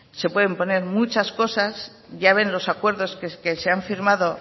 se pueden poner muchas cosas ya ven los acuerdos que se han firmado